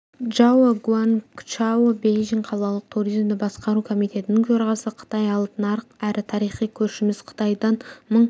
джао гуангчао бейжің қалалық туризмді басқару комитетінің төрағасы қытай алып нарық әрі тарихи көршіміз қытайдан мың